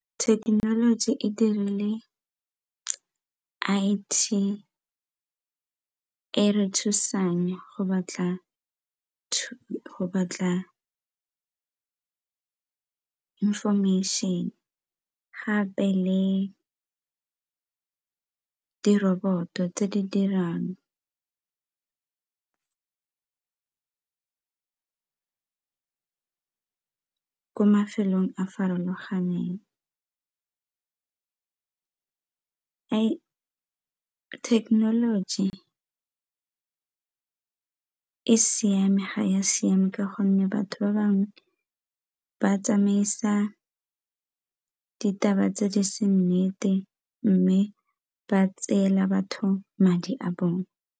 Thekenoloji e dirile I_T e e re thusang go batla information gape le diroboto tse di dirang ko mafelong a farologaneng. Technology e siame ga e a siama ka gonne batho ba bangwe ba tsamaisa ditaba tse di seng nnete mme ba tseela batho madi a bone.